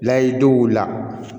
Layido wulila